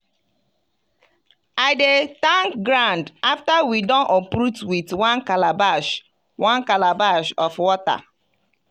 i dey thank ground after we don uproot with one calabash one calabash of water.